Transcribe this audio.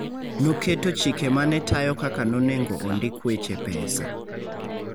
Noketo chike ma ne tayo kaka nonengo ondik weche pesa.